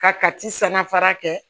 Ka kati sanna fara kɛ